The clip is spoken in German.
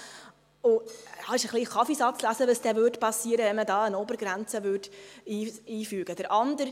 Es wäre Kaffeesatzlesen, zu sagen, was geschehen würde, wenn man eine Obergrenze einführen würde.